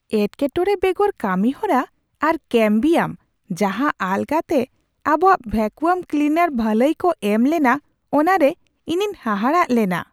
ᱮᱴᱠᱮᱼᱴᱚᱬᱮ ᱵᱮᱜᱚᱨ ᱠᱟᱹᱢᱤ ᱦᱚᱨᱟ ᱟᱨ ᱠᱮᱹᱢᱵᱤᱭᱟᱢ ᱡᱟᱦᱟᱸ ᱟᱞᱜᱟᱛᱮ ᱟᱵᱚᱣᱟᱜ ᱵᱷᱮᱠᱩᱢ ᱠᱞᱤᱱᱟᱨ ᱵᱷᱟᱹᱞᱟᱹᱭ ᱠᱚ ᱮᱢ ᱞᱮᱱᱟ ᱚᱱᱟᱨᱮ ᱤᱧᱤᱧ ᱦᱟᱦᱟᱲᱟᱜ ᱞᱮᱱᱟ ᱾